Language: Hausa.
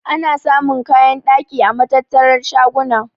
Ana samun kayan ɗaki a matattar shaguna.